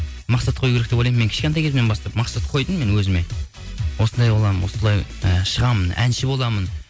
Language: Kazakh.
мақсат қою керек деп ойлаймын мен кішкентай кезімнен бастап мақсат қойдым мен өзіме осындай боламын осылай і шығамын әнші боламын